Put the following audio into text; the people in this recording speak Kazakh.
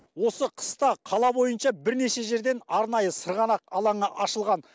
осы қыста қала бойынша бірнеше жерден арнайы сырғанақ алаңы ашылған